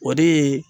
O de ye